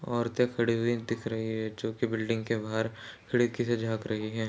औरते खड़ी हुई दिख रही है जोकि बिल्डिंग के बाहर खिड़की से झांक रही है।